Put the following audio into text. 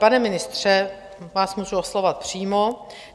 Pane ministře, vás můžu oslovovat přímo.